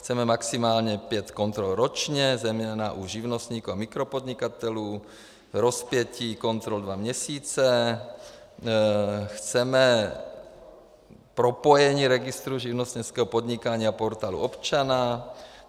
Chceme maximálně pět kontrol ročně, zejména u živnostníků a mikropodnikatelů, rozpětí kontrol dva měsíce, chceme propojení registru živnostenského podnikání a Portálu občana.